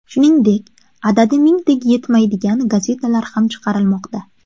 Shuningdek, adadi mingtaga yetmaydigan gazetalar ham chiqarilmoqda.